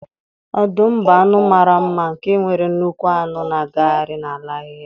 Ọdụm bụ anụ mara mma nke nwere nnukwu anụ na-agagharị n'ala ahịhịa.